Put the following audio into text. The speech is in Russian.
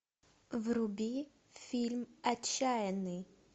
вруби фильм отчаянный